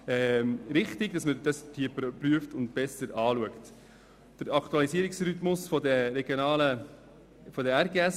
Dies erachten wir ebenfalls als richtige Richtung.